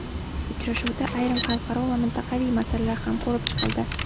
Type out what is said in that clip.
Uchrashuvda ayrim xalqaro va mintaqaviy masalalar ham ko‘rib chiqildi.